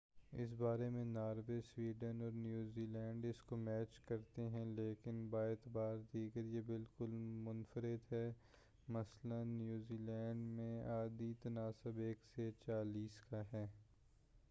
اس بارے میں Norway, Sweden اور نیوزیلینڈ اس کو میچ کرتے ہیں، لیکن باعتبار دیگر یہ بالکل منفرد ہے مثلاٍ نیدرلینڈس میں عددی تناسب ایک سے چالیس کا ہے۔